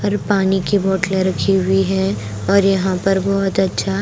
और पानी की बोतलें रखी हुई हैं और यहां पर बहुत अच्छा--